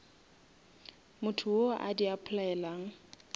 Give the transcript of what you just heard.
motho wo a di applyelang